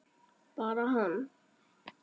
Bara hann?